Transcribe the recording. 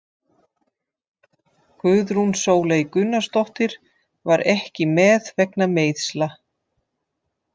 Guðrún Sóley Gunnarsdóttir var ekki með vegna meiðsla.